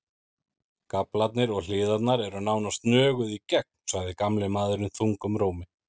Gaflarnir og hliðarnar eru nánast nöguð í gegn, sagði gamli maðurinn þungum rómi.